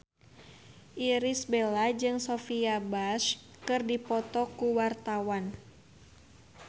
Irish Bella jeung Sophia Bush keur dipoto ku wartawan